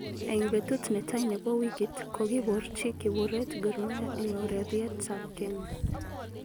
Eng betut netai nebo wikit kokikiborchi kiburiet Gormahia eng oreriet ab Kenya.